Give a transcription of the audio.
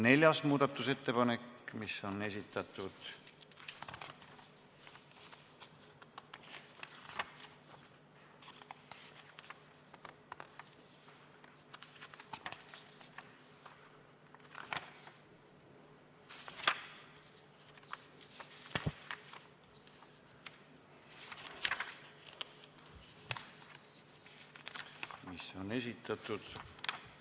Neljas muudatusettepanek, mille on esitanud ...